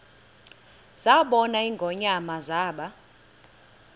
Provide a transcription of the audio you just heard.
zabona ingonyama zaba